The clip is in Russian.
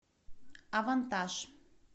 авантаж